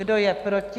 Kdo je proti?